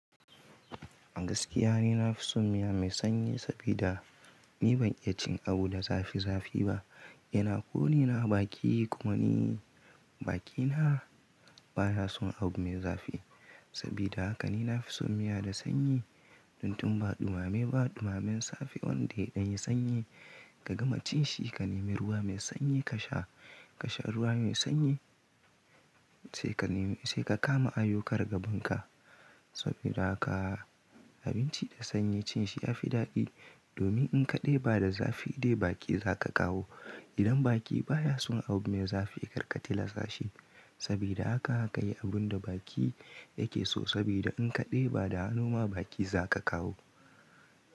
A gaskiya ne na fi son miya mai sanyi sabida ni ban iya cin abu da zafi zafi ba. Yana konina a baki kuma ni bakina bana son abu mai zafi. Saboda haka ni na fi son miya da sanyi. Tun tun ba ɗumame ba, ɗumamen safe wanda ya yi sanyi ka gama cin shi, ka neme ruwa mai sanyi ka sha, ka sha ruwa mai sanyi sai ka nemi, sai ka kama ayyukar gaban ka. Saboda haka abinci da sanyi cin shi ya fi daɗi domin in ka ɗiba da zafi dai baki za ka kawo. Idan baki baya son abu mai zafi ya kark tilasta shi. Sabida haka ka yi abun da baki yake so saboda in kaɗiba da hannu ma baki za ka kawo.